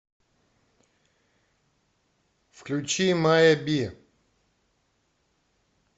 включи мая би